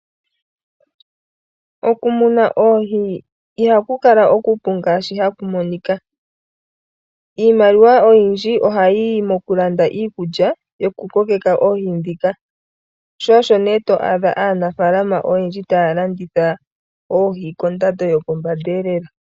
Oku muna oohi iha ku kala oku pu ngaashi ha ha ku monika, iimaliwa oyindji oha yi yi mo ku landa iikulya yo ku kokeka oohi ndhika, sho osho nee to adha aanafaalama oyendji ta ya landitha oohi kondando yopombanda lela.